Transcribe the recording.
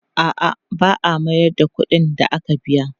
A'a, ba a mayar da kuɗin da aka biya.